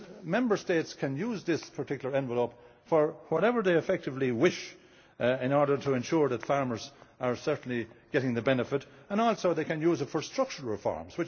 Member States can use this particular envelope for whatever they effectively wish in order to ensure that farmers are certainly getting the benefit, and also they can use it for structural reforms.